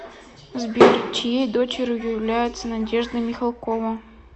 сбер чьеи дочерью является надежда михалкова